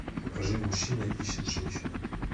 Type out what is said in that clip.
покажи мужчина ищет женщину